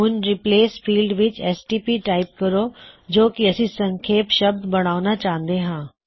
ਹੁਣ replace field ਵਿੱਚ STP type ਕਰੋ ਜੋ ਕੀ ਅਸੀ ਸੰਖੇਪ ਸ਼ਬਦ ਬਣਾਉਨਾ ਚਾਹੂਂਦੇ ਹਾਂ